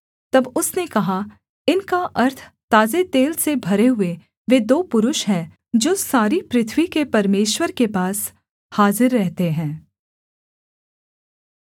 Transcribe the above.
तब उसने कहा इनका अर्थ ताजे तेल से भरे हुए वे दो पुरुष हैं जो सारी पृथ्वी के परमेश्वर के पास हाजिर रहते हैं